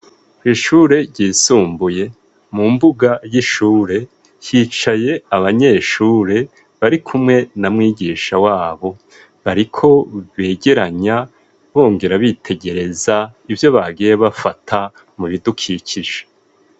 Kwishure ryisumbuye mu mbuga y'ishure yicaye abanyeshure bari kumwe na mwigisha wabo bariko begeranya bongera bitegereza ivyo bagiye bafata mu bidukikisha.